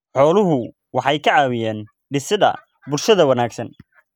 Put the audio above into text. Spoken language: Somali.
Xooluhu waxay ka caawiyaan dhisidda bulsho wanaagsan.